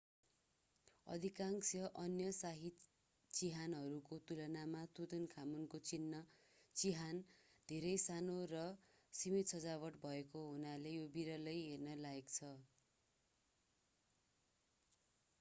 अधिकांश अन्य शाही चिहानहरूको तुलनामा तुतानखामुनको चिहान धेरै सानो र सीमित सजावट भएको हुनाले यो विरलै हेर्न लायक छ